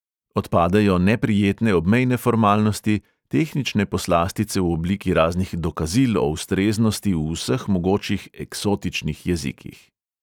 Odpadejo neprijetne obmejne formalnosti, tehnične poslastice v obliki raznih dokazil o ustreznosti v vseh mogočih eksotičnih jezikih.